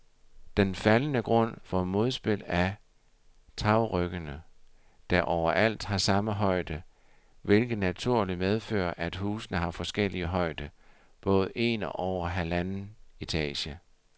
Den faldende grund får modspil af tagryggene, der overalt har samme højde, hvilket naturligt medfører, at husene har forskellig højde, både en og halvanden etage.